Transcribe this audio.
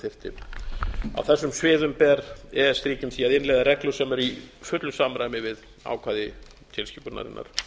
þyrfti á þessum sviðum ber e e s ríkjum því að innleiða reglur sem eru í fullu samræmi við ákvæði tilskipunarinnar